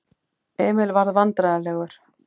Emil varð vandræðalegur.